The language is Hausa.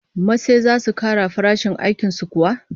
Masai zasu kara farashin aikin su kuwa?